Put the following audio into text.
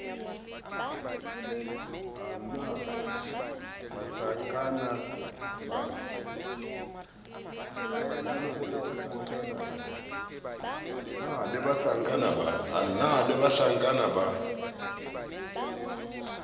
a na le bahlankana ba